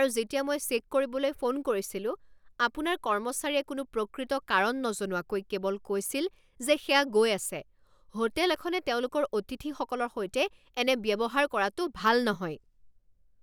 আৰু যেতিয়া মই চেক কৰিবলৈ ফোন কৰিছিলো, আপোনাৰ কৰ্মচাৰীয়ে কোনো প্ৰকৃত কাৰণ নজনোৱাকৈ কেৱল কৈছিল যে সেয়া গৈ আছে। হোটেল এখনে তেওঁলোকৰ অতিথিসকলৰ সৈতে এনে ব্যৱহাৰ কৰাটো ভাল নহয়।